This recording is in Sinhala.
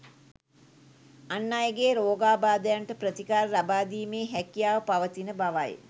අන් අයගේ රෝගාබාධයන්ට ප්‍රතිකාර ලබාදීමේ හැකියාව පවතින බවයි